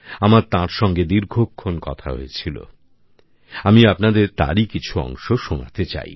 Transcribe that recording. আমার তাঁর সঙ্গে দীর্ঘক্ষন কথা হয়েছিল আমি আপনাদের তারই কিছু অংশ শোনাতে চাই